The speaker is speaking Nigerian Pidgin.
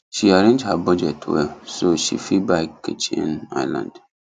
she arrange her budget well so she fit buy kitchen island